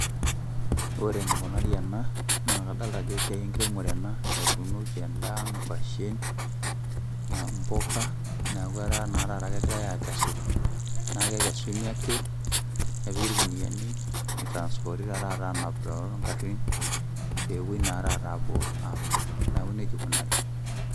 Ore enikunari ena, na kadalta ajo esiai enkiremore ena, etuunoki endaa, nkwashen, mpuka, neeku etaa na taata kegirai akesu. Na kekesuni ake, nepiki irkuniyiani, nitranspoti taata anap togarrin, pepoi na taata apuo amir. Neeku nejia ikunari.